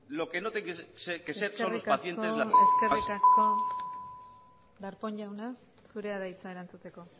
lo que eskerrik asko darpón jauna zurea da hitza erantzuteko